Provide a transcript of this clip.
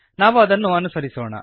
ನಾವು ಅದನ್ನು ಅನುಸರಿಸೋಣ